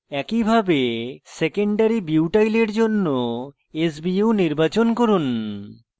একইভাবে secondary butyl secondary butyl এর জন্য sbu নির্বাচন করুন